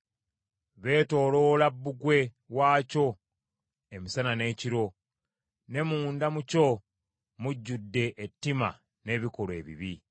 Beetooloola bbugwe waakyo emisana n’ekiro, ne munda mu kyo mujjudde ettima n’ebikolwa ebibi.